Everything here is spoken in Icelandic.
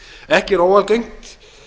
ekki er óalgengt